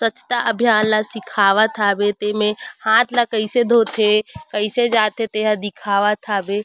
स्वच्छता अभियान ला सिखावत हावे तेमे हाथ ला कइसे धोथे कइसे जाथे ते ह दिखावत हावे।